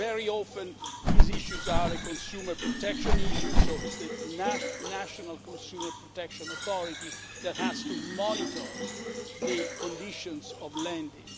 Very often, these issues are a consumer protection issue, so it's the national consumer protection authority that has to monitor the conditions of lending.